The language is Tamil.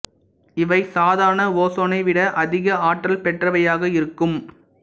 இவை சாதாரண ஓசோனை விட அதிக ஆற்றல் பெற்றவையாக இருக்கும்